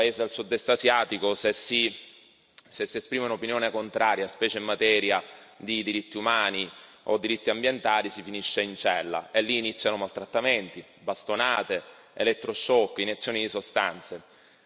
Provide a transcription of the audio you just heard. Nel paese del Sud Est asiatico, se si esprime un'opinione contraria, specie in materia di diritti umani o diritti ambientali, si finisce in cella, e lì iniziano maltrattamenti, bastonate, elettroshock, iniezioni di sostanze.